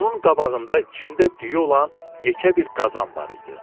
Onun qabağında içində düyü olan yekə bir qazan var idi.